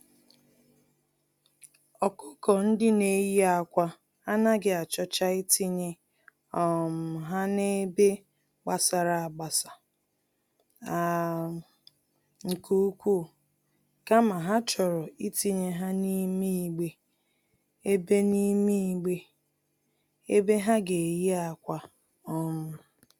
ọkụkọ-ndị-neyi-ákwà anaghị achọcha itinye um ha n'ebe gbasara-agbasa um nke ukwu, kama ha chọrọ itinye ha n'ime igbe ebe n'ime igbe ebe ha geyi ákwà. um